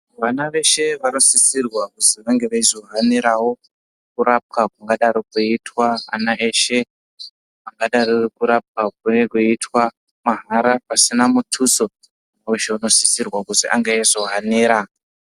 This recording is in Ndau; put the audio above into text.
Vana veshe vanosisirwa kuzi vange veizohanirawo kurapwa kungadaro kweiitwa ana eshe kungadaro kurapwa kunege kweiitwa mahara pasina mutuso weshe unosisirwa kuzi ange eizohanira.